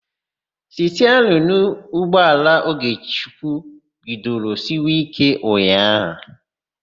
Stiarịnụ ụgbọala Ogechukwu bidoro siwe íké ụnyaahụ.